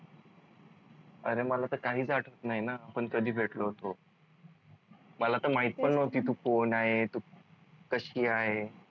अरे मला तर काहीच आठवत नाही न आपण कधी भेटलो होतो मला तर माहीत पण नव्हती तू कोण आहे तू कशी आहे?